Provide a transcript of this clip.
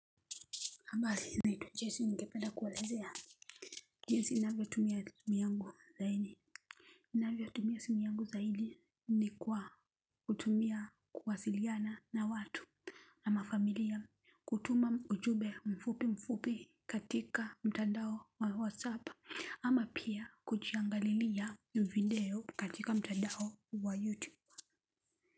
Habari naitwa Jessi ningependa kuelezea jinsi ninavyotumia simu yangu zaidi. Ninavyotumia simu yangu zaidi ni kwa kutumia kuwasiliana na watu. Ama familia kutuma ujumbe mfupi mfupi katika mtandao wa whatsapp ama pia kujiangalilia video katika mtandao wa youtube.